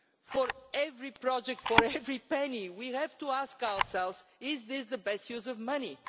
For every project, for every penny, we have to ask ourselves if this is the best use of money.